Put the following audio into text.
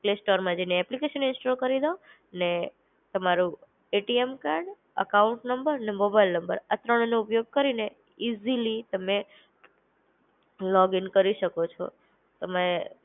Play સ્ટોરમાં જઈને application install કરી દો, ને તમારું એટીએમ કાર્ડ, એકાઉન્ટ નંબર ને મોબાઈલ નંબર. આ ત્રણનું ઉપયોગ કરીને ઈઝીલી તમે લોગીન કરી શકો છો. તમે.